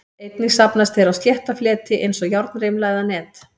Einnig safnast þeir á slétta fleti eins og járnrimla eða net.